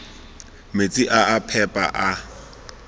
metsi a a phepa a